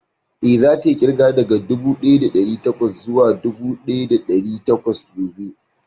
Eh, za ta yi ƙirga daga dubu ɗaya da ɗari bakwai zuwa dubu ɗaya da ɗari takwas gobe